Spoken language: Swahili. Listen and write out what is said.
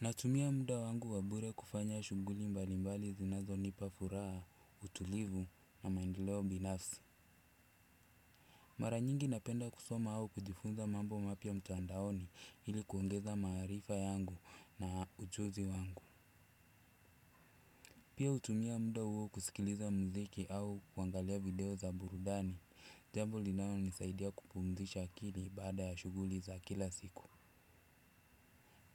Natumia mda wangu wa bure kufanya shughuli mbalimbali zinazo nipa furaha, utulivu na maendeleo binafsi. Mara nyingi napenda kusoma au kujifunza mambo mapya mtandaoni, ili kuongeza maarifa yangu na ujuzi wangu. Pia hutumia mda huo kusikiliza mziki au kuangalia video za burudani, jambo linao nisaidia kupumzisha akili baada ya shughuli za kila siku.